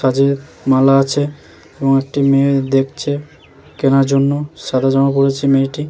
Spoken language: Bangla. কাজের মালা আছে এবং একটি মেয়ে দেখছে কেনার জন্য সাদা জামা পড়েছে মেয়েটি।